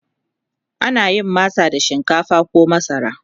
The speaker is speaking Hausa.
ana yin masa da shinkafa koh masara